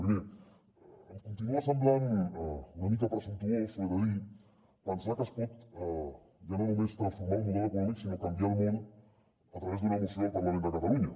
primer em con·tinua semblant una mica presumptuós ho he de dir pensar que es pot ja no només transformar el model econòmic sinó canviar el món a través d’una moció al par·lament de catalunya